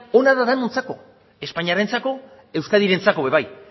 ona da denontzako espainarentzako euskadirentzako ere bai